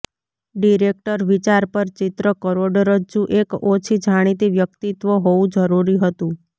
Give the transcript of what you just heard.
director વિચાર પર ચિત્ર કરોડરજ્જુ એક ઓછી જાણીતી વ્યક્તિત્વ હોવું જરૂરી હતું